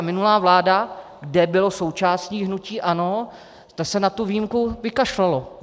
A minulá vláda, kde bylo součástí hnutí ANO, ta se na tu výjimku vykašlala.